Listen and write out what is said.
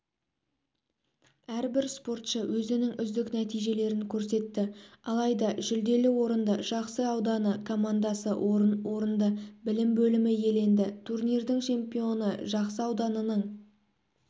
әрбір спортшы өзінің үздік нәтижелерін көрсетті алайда жүлделі орынды жақсы ауданы командасы орын орынды білім бөлімі иеленді турнирдің чемпионы жақсы ауданының